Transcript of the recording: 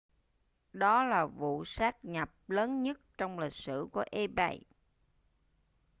đó là vụ sát nhập lớn nhất trong lịch sử của ebay